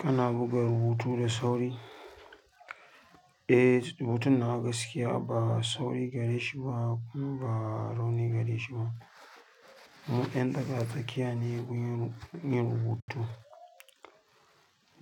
Kana buga rubutu da sauri? Eh, rubutun nawa ba sauri gare shi kuma ba rauni gare shi ba mu 'yan tsaka-tsakiya ne wurin yin rubutu,